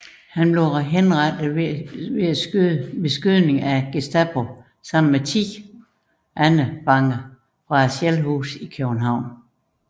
Han blev henrettet ved skydning af Gestapo sammen med 10 andre fanger fra Shellhuset i København